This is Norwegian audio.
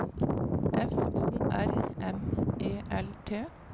F O R M E L T